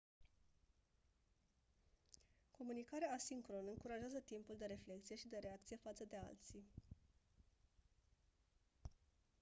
comunicarea asincronă încurajează timpul de reflecție și de reacție față de alții